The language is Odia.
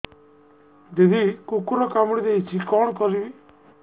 ଦିଦି କୁକୁର କାମୁଡି ଦେଇଛି କଣ କରିବି